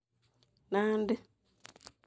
Nandi